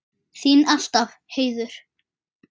Þín alltaf, Heiður.